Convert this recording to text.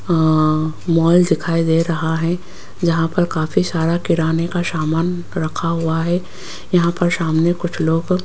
आह mall दिखाई दे रहा है यहां पर काफी सारा किराने का समान रखा हुआ है यहां पर सामने कुछ लोग --